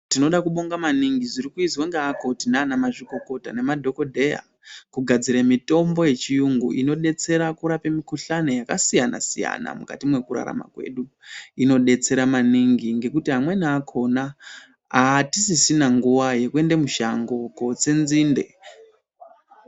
Tinoda kubonga zviri kuizwa ngeakoti nana mazvikokota nemadhokodheya kugadzira mitambo yechiyungu inodetsera kurapa mikhuhlani yakasiyana siyana mukati mwekurarama kwedu. Inodetsera maningi ngekuti amweni akhona aatisisina nguwa yekuenda mushango kotse nzinde.